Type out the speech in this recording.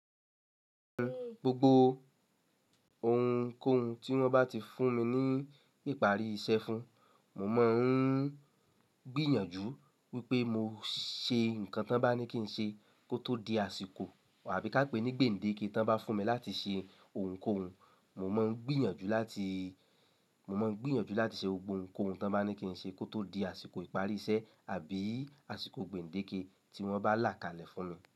Gbogbo ohunkóhun tí wọ́n bá ti fún mi ní ìparí iṣẹ́ fún, mo máa ń gbìyànjú wípé mo ṣe nǹkan tí wọ́n bá ní kí n ṣe kó tó di àsìkò àbí ká pè ní gbèǹdéke tí wọ́n bá fún mi láti ṣe ohunkóhun. Mo máa ń gbìyànjú láti ṣe gbogbo ohunkóhun tí wọ́n bá ní kí n ṣe kó tó di àsìkò ìparí iṣẹ́ àbí àsìkò gbèǹdéke tí wọ́n bá là kalẹ̀ fún mi.